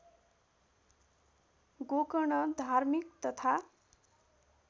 गोकर्ण धार्मिक तथा